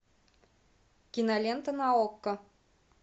кинолента на окко